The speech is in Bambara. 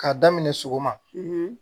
K'a daminɛ sɔgɔma